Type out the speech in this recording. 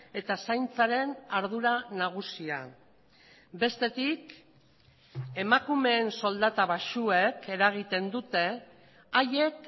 eta zaintzaren ardura nagusia bestetik emakumeen soldata baxuek eragiten dute haiek